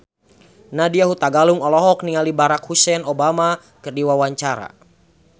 Nadya Hutagalung olohok ningali Barack Hussein Obama keur diwawancara